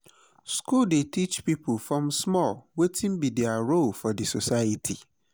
school dey teach pipo from small wetin be their role for di society